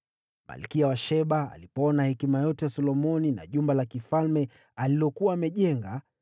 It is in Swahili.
Malkia wa Sheba alipoona hekima yote ya Solomoni na jumba la kifalme alilokuwa amejenga,